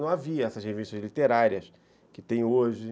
Não havia essas revistas literárias que tem hoje.